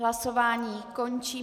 Hlasování končím.